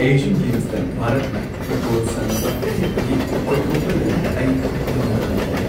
Asian ꯒꯦꯝꯁꯇ ꯚꯥꯔꯠꯅ football ꯁꯥꯟꯅꯕ ꯌꯦꯡꯕꯒꯤ ꯑꯣꯏꯊꯣꯛꯄ ꯂꯩꯕꯗ ꯑꯩ ꯌꯥꯝꯅ ꯅꯨꯡꯉꯥꯏꯈꯤ ꯫